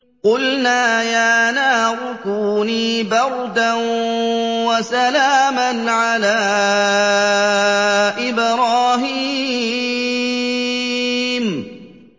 قُلْنَا يَا نَارُ كُونِي بَرْدًا وَسَلَامًا عَلَىٰ إِبْرَاهِيمَ